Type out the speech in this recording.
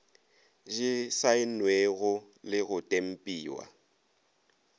di saennwego le go tempiwa